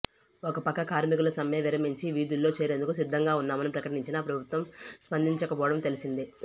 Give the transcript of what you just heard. ఒకపక్క కార్మికులు సమ్మె విరమించి విధుల్లో చేరేందుకు సిద్ధంగా ఉన్నామని ప్రకటించినా ప్రభుత్వం స్పందిచకపోవడం తెలిసిందే